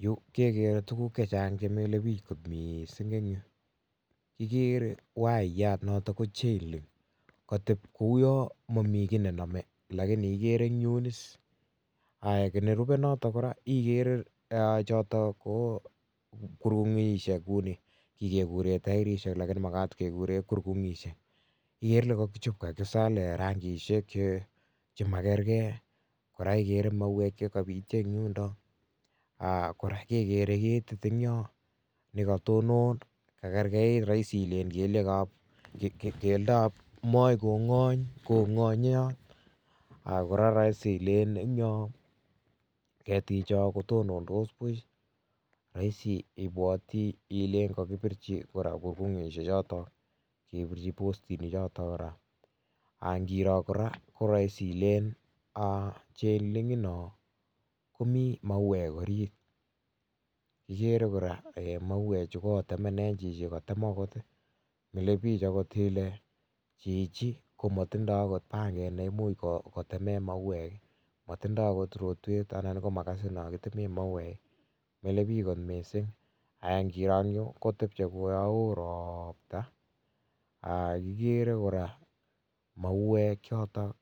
Yu kekere tukuk chechang chemile biik kot missing eng yu kikere wiyat notok chailing kotep uyon momii ki nenome ak nerube notok kora ikere kurung'ishek kouni kikekuren tierishek lakini makat kekuren kurkung'ishek ikere ile kokichop kakisalen rangisiek chemakerke kora ikere mauwek chekopyo en yundo, kora kekere keti nekotonon kakerkeit roisi ile kelyekab keldab moi kong'ony kong'onyot akora roisi ilen en yon ketichon kotonondos buch roisi ibwoti ilen kora kokipirchi kurkung'ishechoto kebirchi postinichoto kora angiro kora koroisi ilen chailini non komii mauwek orit ikere kora mauwechu kotemenen chichi akotem akot milebich akot ile chichi komotindoo akot panget neimuch kotemen mauwek, motindoo akot rotwet ana komakasit nokitilen mauwek mile biik kot missing angiro en yu kotepche uyon woo ropta kikere kora mauwek choto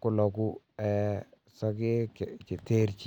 koloku eeh sokek cheterchin.